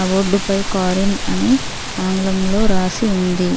ఆ బోర్డు పై car in అని ఆగ్లంలో రాసి ఉంది